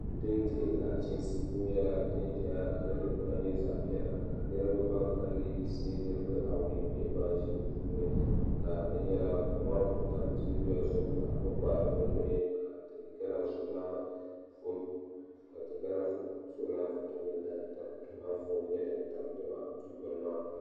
Duu din dihi nachiinsi nyɛla din ʒɛya ka niraba ban kalinli yiŋisi nirabaa awoi bɛ di puuni ka di nyɛla koma n ku tam teebuya zuɣu ka bi kpahari bi nuhi ka ti gana zuɣulana foto nyɛ din tabi lala dikpuni maa